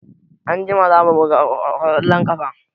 Anjima za mu buga ƙwallon ƙafa.